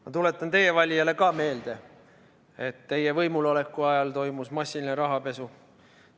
Ma tuletan ka teie valijale meelde, et teie võimul oleku ajal toimus massiline rahapesu.